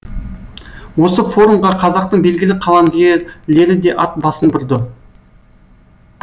осы форумға қазақтың белгілі қаламгерлері де ат басын бұрды